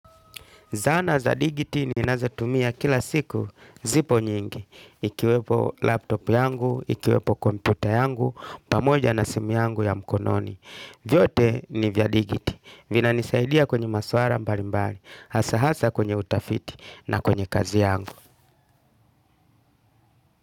Zana za digiti ninazotumia kila siku zipo nyingi, ikiwepo laptop yangu, ikiwepo computer yangu, pamoja na simu yangu ya mkononi. Vyote ni vya digiti, vinanisaidia kwenye maswala mbalimbali, hasa hasa kwenye utafiti na kwenye kazi yangu.